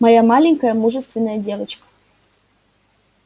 моя маленькая мужественная девочка